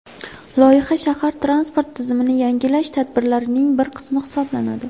Loyiha shahar transport tizimini yangilash tadbirlarining bir qismi hisoblanadi.